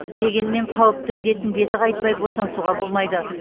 дегенмен қауіпті індеттің беті қайтпай босаңсуға болмайды